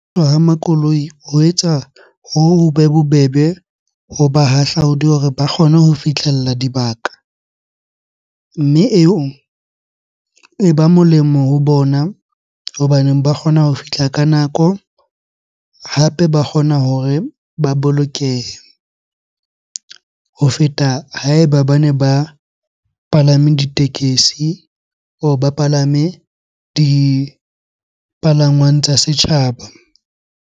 Ha makoloi ho etsa hobe bobebe ho bahahlaudi hore ba kgone ho fihlella dibaka. Mme eo e ba molemo ho bona hobaneng ba kgona ho fihla ka nako hape ba kgona hore ba bolokehe. Ho feta ha eba bane ba palame ditekesi or ba palame dipalangwang tsa setjhaba.